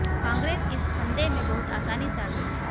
कांग्रेस इस फंदे में बहुत आसानी से आ गई